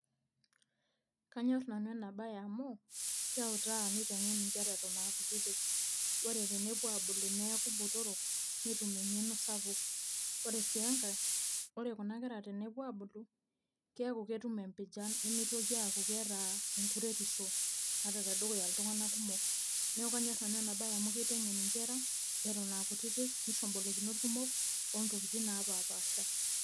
Kanyor nanu ena bae amuu, keutaa nitengen inkera eton aa kutitik. Wore tenepuo aabulu neeku botorok, netum engeno sapuk, wore sii enkae, wore kuna kera tenepuo aabulu, keeku ketum empijan nemeitoki aaku keeta enkureitisho ata tedukuya iltunganak kumok. Neeku kanyor nanu ena bae amuu kitengen inkera eton aa kutitik, nisho imbolokinot kumok, ontokitin naapapaasha.